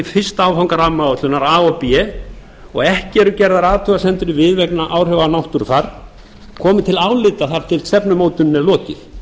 fyrsta áfanga rammaáætlunar a og b og ekki eru gerðar athugasemdar við vegna áhrifa á náttúrufar komi til álita þar til stefnumótuninni er lokið